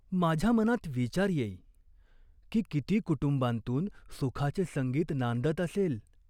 माझ्या मनात विचार येई, की किती कुटुंबांतून सुखाचे संगीत नांदत असेल ?